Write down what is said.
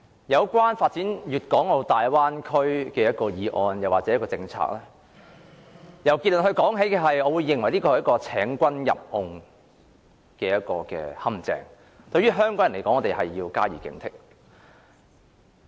有關發展粵港澳大灣區的議案和政策，如果由結論說起的話，我認為這是請君入甕的陷阱，香港人要加以警惕。